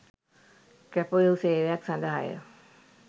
කැපවූ සේවයක් සඳහාය